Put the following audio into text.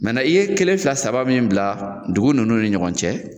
i ye kelen fila saba min bila duguw nunnu ni ɲɔgɔn cɛ